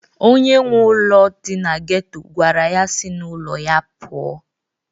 Onye nwe ụlọ dị na geto gwara ya si n'ụlọ ya pụọ!